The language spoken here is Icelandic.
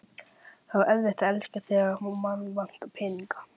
Það er svo erfitt að elska, þegar mann vantar peninga